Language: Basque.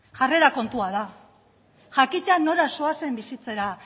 jarrera kontua da jakitea nora zoazen bizitzera